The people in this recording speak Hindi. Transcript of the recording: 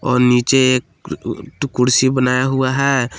और नीचे एक कुर्सी बनाया हुआ है।